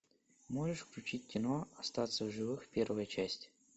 можешь включить кино остаться в живых первая часть